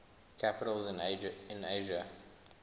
capitals in asia